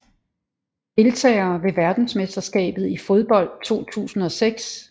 Deltagere ved verdensmesterskabet i fodbold 2006